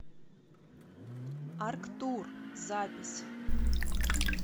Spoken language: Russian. арктур запись